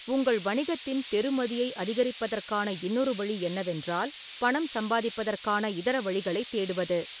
உங்கள் வணிகத்தின் பெறுமதியை அதிகரிப்பதற்கான இன்னொரு வழி என்னவென்றால், பணம் சம்பாதிப்பதற்கான இதர வழிகளைத் தேடுவது.